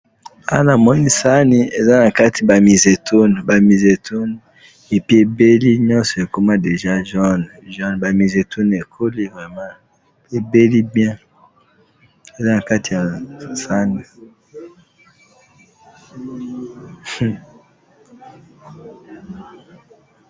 awa na sani namoni bamezetuni eza ebeli namoni ebeli namoni eza jone ezakitoko